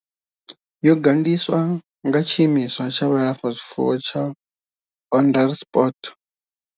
Yo gandiswa nga Tshiimiswa tsha Vhulafha zwifuwo tsha Onderstepoort.